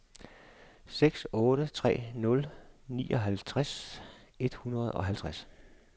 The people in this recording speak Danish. seks otte tre nul nioghalvtreds et hundrede og halvtreds